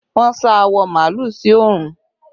Wọn sá awọ màálù sí oòrùn